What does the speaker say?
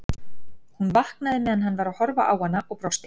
Hún vaknaði meðan hann var að horfa á hana og brosti.